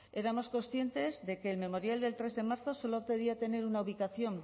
éramos conscientes de que el memorial del tres en marzo solo pedía tener una ubicación